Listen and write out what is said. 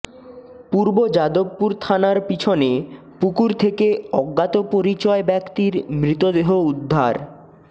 পূর্ব যাদবপুর থানার পিছনে পুকুর থেকে অজ্ঞাতপরিচয় ব্যক্তির মৃতদেহ উদ্ধার